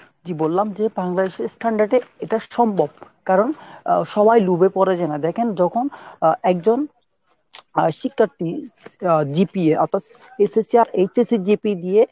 জি বললাম যে Bangladesh এর standard এ এটা সম্ভব। কারণ সবাই লুভে পরে যেনা। দ্যাখেন যখন একজন শিক্ষার্থী GPA অর্থাৎ SSC আর HSJP দিয়ে